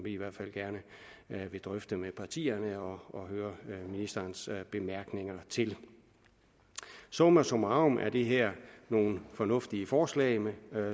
i hvert fald gerne vil drøfte med partierne og høre ministerens bemærkninger til summa summarum er det her nogle fornuftige forslag